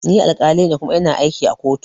Ni alkali ne kuma ina aiki a kotu